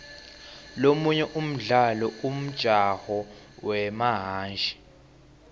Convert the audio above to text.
lomunye umdlalo umjaho wemahhashi